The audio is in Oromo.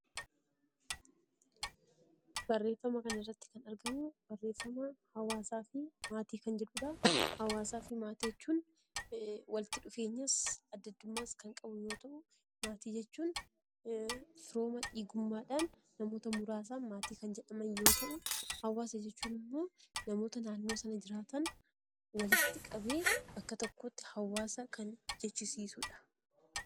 Barreeffama kana irratti kan argamu barreeffama hawwaasaa fi maatii kan jedhuudha. Hawwaasaa fi maatii jechuun waliitti dhufeenyas adda addummaas kan qabu yoo ta'u. Maatii jechuun firooma dhiigummaadhaan namoota muraasaan maatii kan jedhaman yoo ta'u. Hawwaasa jechuun ammoo namoota naannoo sana jiraatan walitti qabee bakka tokkotti hawwaasa kan jechisiisuudha.